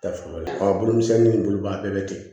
Tafe lo bolo misɛnnin in bolobaga bɛɛ bɛ tigɛ